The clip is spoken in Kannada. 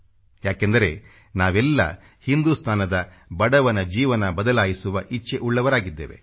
ಯಾಕೆಂದರೆ ನಾವೆಲ್ಲ ಹಿಂದುಸ್ತಾನದ ಬಡವನ ಜೀವನ ಬದಲಾಯಿಸುವ ಇಚ್ಚೆ ಉಳ್ಳವರಾಗಿದ್ದೇವೆ